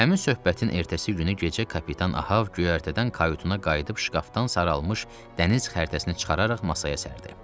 Həmin söhbətin ertəsi günü gecə kapitan Ahav göyərtədən kayutuna qayıdıb şkafdan saralmış dəniz xəritəsini çıxararaq masaya sərdi.